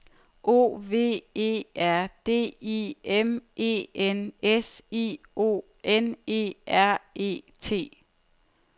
O V E R D I M E N S I O N E R E T